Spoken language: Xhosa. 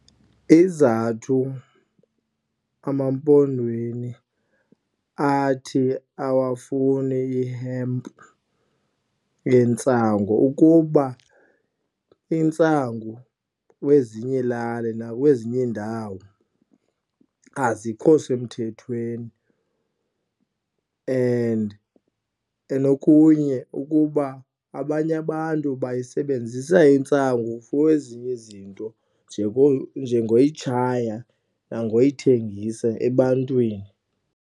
Izizathu emampondweni athi awafuni ihempu yentsangu ukuba intsangu kwezinye ilali nakwezinye iindawo azikho semthethweni and okunye ukuba abanye abantu bayisebenzisa intsangu for ezinye izinto njengoyitshaya nangoyithengisa ebantwini.